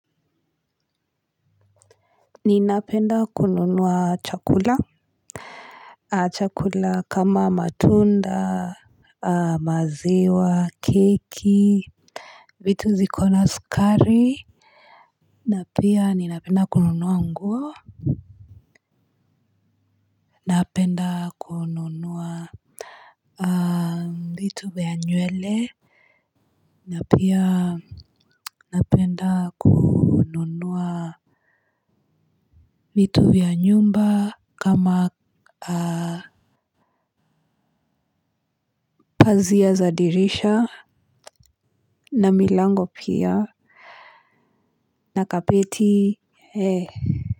Ninapenda kununua chakula. Chakula kama matunda maziwa keki. Vitu ziko na sukari. Na pia ninapenda kununua nguo. Napenda kununua vitu vya nywele na pia napenda kununua vitu vya nyumba kama pazia za dirisha. Na milango pia. Na kapiti He.